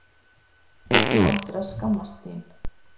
Þú ættir að skammast þín.